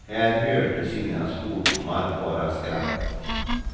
Här hördes inga svordomar, bara skratt.